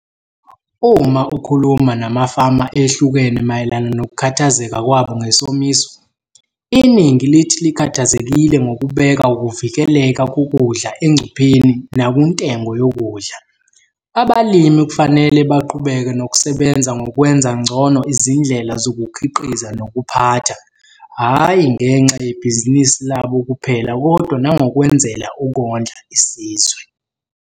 Uma ukhuluma namafama ehlukene mayelana nokukhathazeka kwabo ngesomiso, iningi lithi likhathazekile ngokubeka ukuvikeleka kokudla engcupheni nakuntengo yokudla. Abalimi kufanele baqhubeke nokusebenza ngokwenza ngcono izindlela zokukhiqiza nokuphatha, hhayi ngenxa yebhizinisi labo kuphela kodwa nangokwenzela ukondla isizwe.